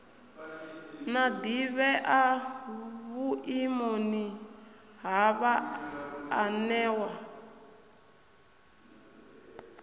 na ḓivhea vhuimoni ha vhaanewa